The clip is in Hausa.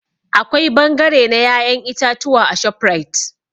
Akwai bangare na ya'yan itatuwa a ShopRite.